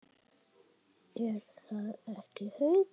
Er það ekki, Haukur?